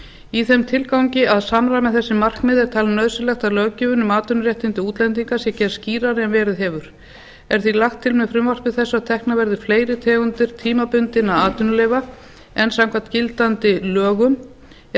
í þeim tilgangi að samræma þessi markmið er talið nauðsynlegt að löggjöfin um atvinnuréttindi útlendinga sé gerð skýrari en verið hefur er því lagt til með frumvarpi þessu að teknar verði fleiri tegundir tímabundinna atvinnuleyfa en samkvæmt gildandi lögum er